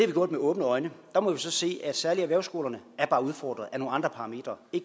vi gjort med åbne øjne der må vi så sige at særlig erhvervsskolerne er udfordret af nogle andre parametre det